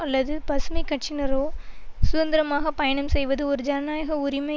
அல்லது பசுமை கட்சியினரோ சுதந்திரமாக பயணம் செய்வது ஒரு ஜனநாயக உரிமை